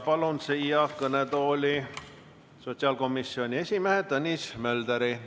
Palun siia kõnetooli sotsiaalkomisjoni esimehe Tõnis Mölderi.